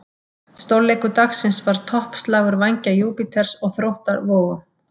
Stórleikur dagsins var toppslagur Vængja Júpíters og Þróttar Vogum.